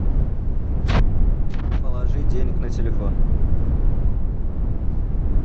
положи денег на телефон